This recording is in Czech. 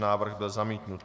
Návrh byl zamítnut.